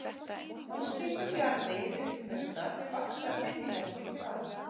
Úr slíkum jarðvegi upplausnar vaxa hryðjuverkin fram.